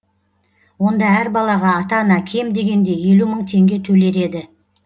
онда әр балаға ата ана кем дегенде елу мың теңге төлер еді